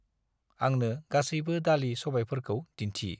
आंनो गासैबो दालि-सबायफोरखौ दिन्थि।